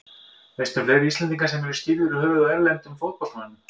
Veistu um fleiri Íslendinga sem eru skírðir í höfuðið á erlendum fótboltamönnum?